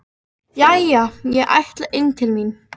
Jæja, ég ætla inn til mín.